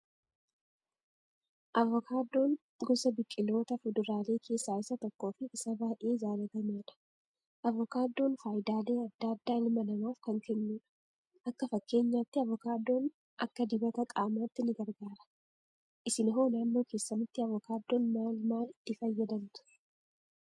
Avokaadoon gosa biqiloota fuduraalee keessaa isa tokko fi isa baayyee jaalatamaadha. Avokaadoon fayidaalee addaa addaa ilma namaaf kan kennudha. Akka fakkeenyaatti avokaadoon akka dibata qaamaatti ni gargaara. Isin hoo naannoo keessanitti avokaadoon maal maal itti fayyadamtu?